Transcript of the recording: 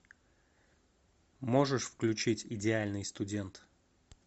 можешь включить идеальный студент